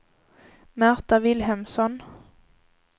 Märta Vilhelmsson